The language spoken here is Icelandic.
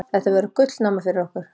Þetta verður gullnáma fyrir okkur.